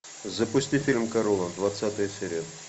запусти фильм корона двадцатая серия